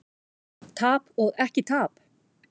Tap og ekki tap?